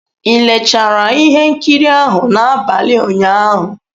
Ị leechara ihe nkiri ahụ n'abalị ụnyaahụ?